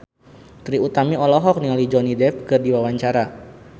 Trie Utami olohok ningali Johnny Depp keur diwawancara